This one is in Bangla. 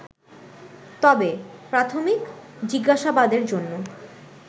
তবে, প্রাথমিক জিজ্ঞাসাবাদের জন্য